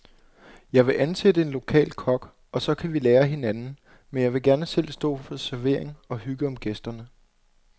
Jeg vil ansætte en lokal kok, og så kan vi lære af hinanden, men jeg vil gerne selv stå for servering og hygge om gæsterne.